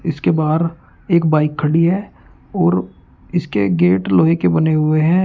इसके बाहर एक बाइक खड़ी है और इसके गेट लोहे के बने हुए है।